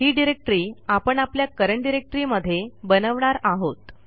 ही directory आपण आपल्या current directory मध्ये बनवणार आहोत